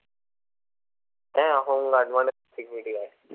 হ্যাঁ home guard মানে তো security guard